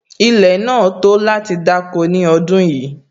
Ilẹ̀ náà tó láti dáko ní ọdún yìí